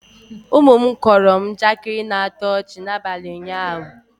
ụmụ m kọọrọ m njakịri na-atọ ọchị n'abalị ụnyahụ